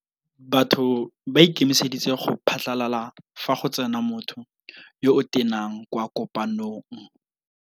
Batho ba ikemeseditse go phatlalala fa go tsena motho yo o tenang kwa kopanông.